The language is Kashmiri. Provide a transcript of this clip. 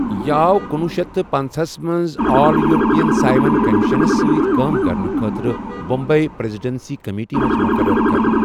یہِ آو کُنوُہ شیتھ تہٕ پنٕژہٕ ہَس منٛز آل یورپین سائمن کمیشنس سۭتۍ کٲم کرنہٕ خٲطرٕ بمبئی پریذیڈنسی کمیٹی منٛز مقرركرنہٕ ۔